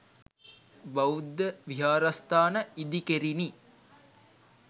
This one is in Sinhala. බෞද්ධ විහාරස්ථාන ඉදිකෙරිණි.